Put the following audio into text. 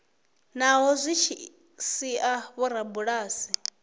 naho zwi tshi sia vhorabulasi